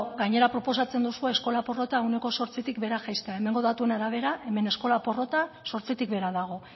gainera proposatzen duzu eskola porrota ehuneko zortzitik behera jaisten hemengo datuen arabera hemen eskola porrota zortzitik behera dago